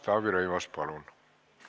Taavi Rõivas, palun!